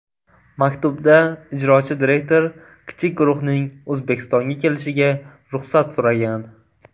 Maktubda ijrochi direktor kichik guruhning O‘zbekistonga kelishiga ruxsat so‘ragan.